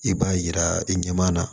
I b'a yira i ɲɛmaa na